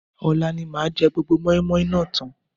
Ọ̀la ni màá jẹ gbogbo mọ́ímọ́í náà tán